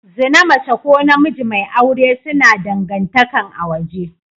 Zina mace ko namiji mai aure suna dangantakan a waje.